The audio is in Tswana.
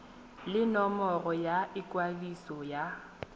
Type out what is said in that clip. le nomoro ya ikwadiso ya